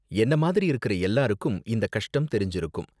என்ன மாதிரி இருக்குற எல்லாருக்கும் இந்த கஷ்டம் தெரிஞ்சுருக்கும்.